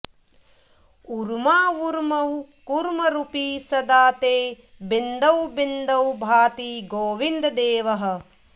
ऊर्मावूर्मौ कूर्मरूपी सदा ते बिन्दौ बिन्दौ भाति गोविन्ददेवः